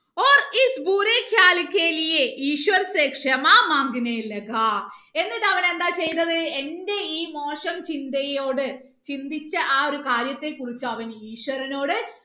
എന്നിട്ട് അവൻ എന്താ ചെയ്തത് എന്റെ ഈ മോശം ചിന്തയോട് ചിന്തിച്ച ആ ഒരു കാര്യത്തെ കുറിച്ച് അവൻ ഈശ്വരനോട്